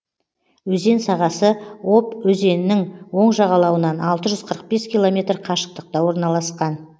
өзен сағасы обь өзенінің оң жағалауынан алты жүз қырық бес километр қашықтықта орналасқан